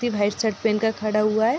ये white shirt पहन कर खड़ा हुआ है।